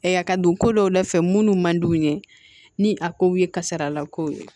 ka don ko dɔw la fɛ munnu man d'u ye ni a kow ye kasarala kow ye